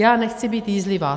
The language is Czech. Já nechci být jízlivá.